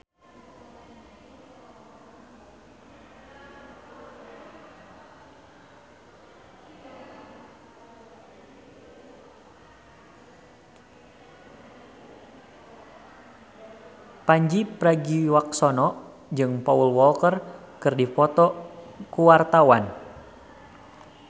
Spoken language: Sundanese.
Pandji Pragiwaksono jeung Paul Walker keur dipoto ku wartawan